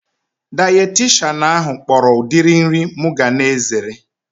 Dayetishanụ ahu kpọrọ udiri nri mụ ga na-ezere